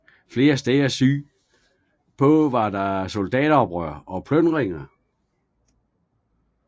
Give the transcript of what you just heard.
Flere steder syd på var der soldateroprør og plyndringer